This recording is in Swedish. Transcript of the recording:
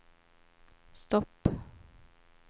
stopp